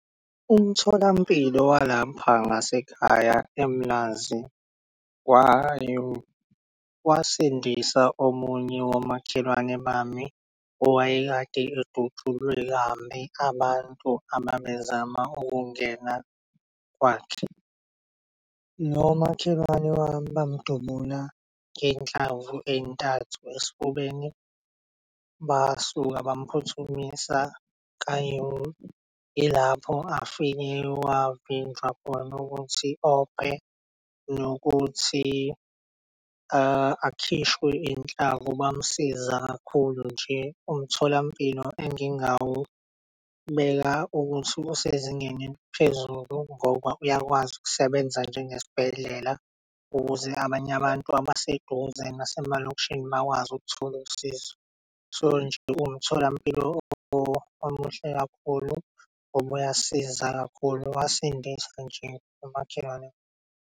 Umtholampilo walapha ngasekhaya eMlazi kwa-U, wasindisa omunye womakhelwane bami owayekade edutshulwe kambi abantu ababezama ukungena kwakhe. Nomakhelwane wami bamdubula ngey'nhlamvu ey'ntathu esifubeni. Basuka baphuthumisa ka-U ilapho wafika wavinjwa khona ukuthi ophe nokuthi akhishwe inhlavu bamsiza kakhulu nje. Umtholampilo engingawubeka ukuthi usezingeni eliphezulu ngoba uyakwazi ukusebenza njengesibhedlela ukuze abanye abantu abaseduze nasemalokishini bakwazi ukuthola usizo. So nje, umtholampilo omuhle kakhulu ngoba uyasiza kakhulu, wasindisa nje nomakhelwane.